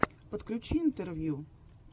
подключи интервью